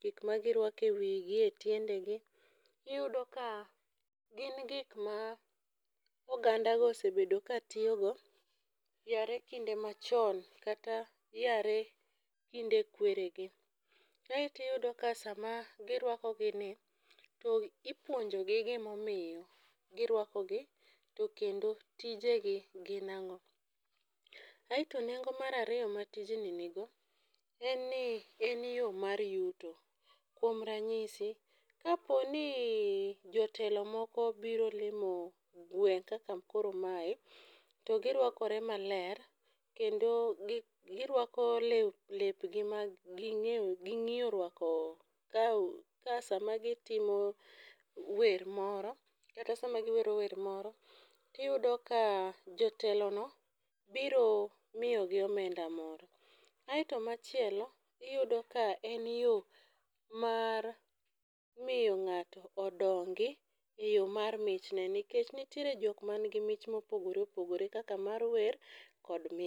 gik magirwako e wigi e tiendegi, iyudo ka gin gik ma ogandago osebedo katiyogo yare kinde machon kata yare kinde kweregi, kaeto iyudo ka sama girwako gini, to ipuonjogi gimomiyo girwakogi, to kendo tijegi gin ang'o. Aeto nengo mar ariyo ma tijni nigo, en ni en yo mar yuto, kuom ranyisi, kapo ni jotelo moko obiro limo gweng' kaka koro mae, to girwakore maler kendo girwako lepgi maging'iyo rwako ka sama gitimo wer moro kata sama giwero wer moro, tiyudo ka jotelono biro miyogi omenda moro. Aeto machielo iyudo ka en yo mar miyo ng'ato odongi e yo mar michne nikech nitiere jok manigi mich mopogore opogore kaka mar wer kod.